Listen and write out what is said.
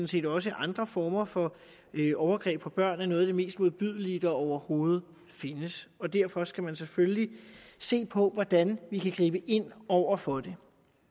set også andre former for overgreb på børn er noget af det mest modbydelige der overhovedet findes derfor skal vi selvfølgelig se på hvordan vi kan gribe ind over for det